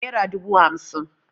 Nera dubu hamsin